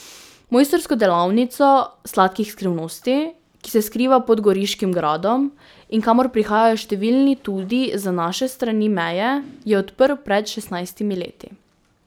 Mojstrsko delavnico sladkih skrivnosti, ki se skriva pod goriškim gradom in kamor prihajajo številni tudi z naše strani meje, je odprl pred šestnajstimi leti.